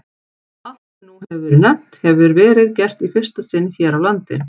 Allt, sem nú hefir verið nefnt, hefir verið gert í fyrsta sinn hér á landi.